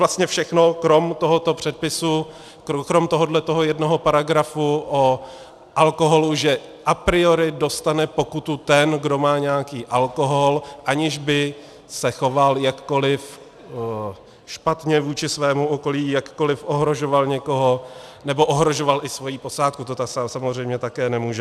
Vlastně všechno, krom tohoto předpisu, krom tohoto jednoho paragrafu o alkoholu, že a priori dostane pokutu ten, kdo má nějaký alkohol, aniž by se choval jakkoliv špatně vůči svému okolí, jakkoliv ohrožoval někoho nebo ohrožoval i svoji posádku, to samozřejmě také nemůže.